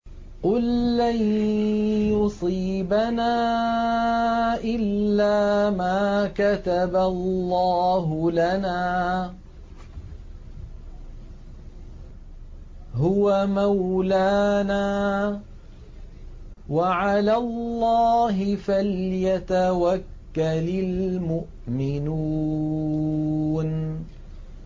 قُل لَّن يُصِيبَنَا إِلَّا مَا كَتَبَ اللَّهُ لَنَا هُوَ مَوْلَانَا ۚ وَعَلَى اللَّهِ فَلْيَتَوَكَّلِ الْمُؤْمِنُونَ